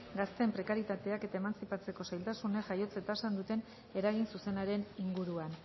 gazteen prekaritateak eta emantzipatzeko zailtasunek jaiotze tasan duten eragin zuzenaren inguruan